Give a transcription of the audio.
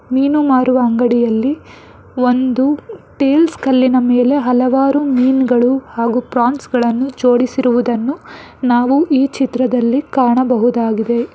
ಮೀನು ಮಾರುವ ಅಂಗಡಿಯಲ್ಲಿ ಒಂದು ಟೈಲ್ಸ್ ಕಲ್ಲಿನ ಮೇಲೆ ಹಲವಾರು ಮೀನುಗಳು ಮತ್ತು ಫ್ರಾನ್ಸ್ ಗಳನ್ನು ಜೋಡಿಸಿರುವುದನ್ನು ನಾವು ಈ ಚಿತ್ರದಲ್ಲಿ ಕಾಣಬಹುದಾಗಿದೆ.